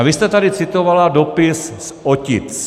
A vy jste tady citovala dopis z Otic.